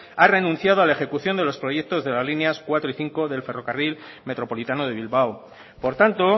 ha renunciado a la ejecución de los proyectos de las líneas cuatro y cinco del ferrocarril metropolitano de bilbao por tanto